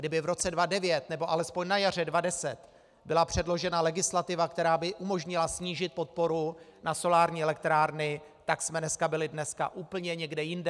Kdyby v roce 2009 nebo alespoň na jaře 2010 byla předložena legislativa, která by umožnila snížit podporu na solární elektrárny, tak jsme dneska byli úplně někde jinde.